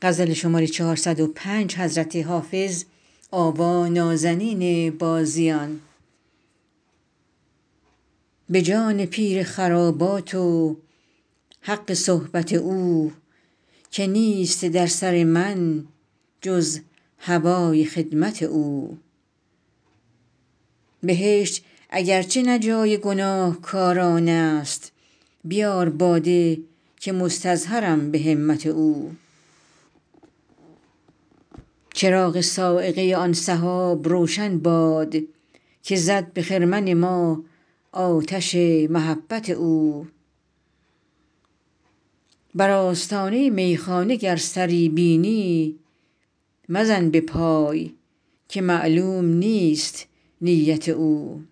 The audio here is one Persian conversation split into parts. به جان پیر خرابات و حق صحبت او که نیست در سر من جز هوای خدمت او بهشت اگر چه نه جای گناهکاران است بیار باده که مستظهرم به همت او چراغ صاعقه آن سحاب روشن باد که زد به خرمن ما آتش محبت او بر آستانه میخانه گر سری بینی مزن به پای که معلوم نیست نیت او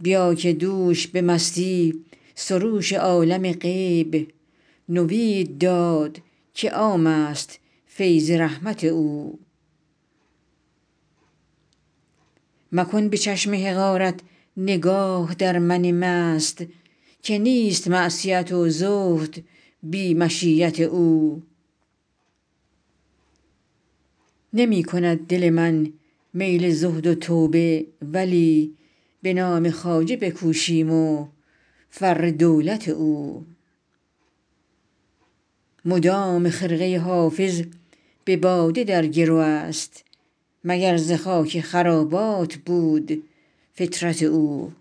بیا که دوش به مستی سروش عالم غیب نوید داد که عام است فیض رحمت او مکن به چشم حقارت نگاه در من مست که نیست معصیت و زهد بی مشیت او نمی کند دل من میل زهد و توبه ولی به نام خواجه بکوشیم و فر دولت او مدام خرقه حافظ به باده در گرو است مگر ز خاک خرابات بود فطرت او